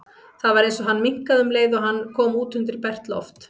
Það var eins og hann minnkaði um leið og hann kom út undir bert loft.